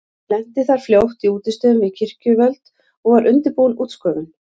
Hann lenti þar fljótt í útistöðum við kirkjuvöld og var undirbúin útskúfun.